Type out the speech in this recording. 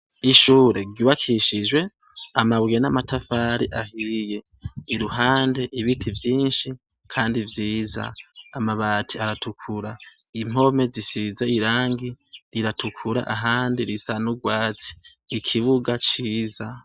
Ishure ryubakishijwe amabuye n'amatafari ahiye, iruhande ibiti vyinshi Kandi vyiza ,amabati aratukura, impome zisize irangi riratukura ahandi risa n'urwatsi , ikibuga ciza.